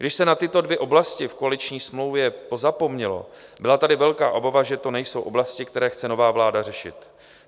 Když se na tyto dvě oblasti v koaliční smlouvě pozapomnělo, byla tady velká obava, že to nejsou oblasti, které chce nová vláda řešit.